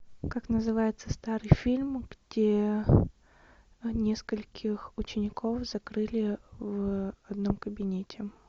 как называется старый фильм где нескольких учеников закрыли в одном кабинете